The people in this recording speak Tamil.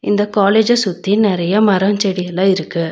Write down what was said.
இந்த காலேஜ்ஜ சுத்தி நெறைய மரோ செடியெல்லா இருக்கு.